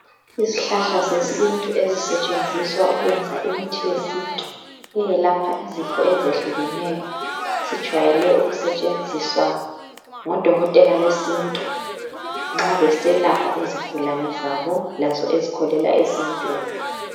Izihlahla zesintu ezisetshenziswa ukwenza imithi yesintu eyelapha izifo ezehlukeneyo sijwayele ukusebenziswa ngodokoteka besintu nxa beselapha izigulane zabo lazo ezikholela esintwini